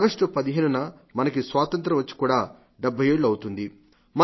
August 15న మనకి స్వాతంత్ర్యం వచ్చి కూడా 70 ఏళ్లు అవుతుంది